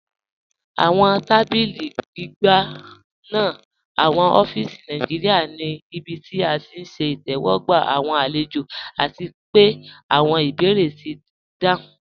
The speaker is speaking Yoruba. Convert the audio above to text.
Awọn tàbílí gbìgbà ní awọn ófíísì Nàìjíríà ní ìbí tí à ti ṣẹ̀ ìtẹwọgba awọn alẹ̀jọ, àti pẹ̀ awọn ìbèérè ti dáhùn.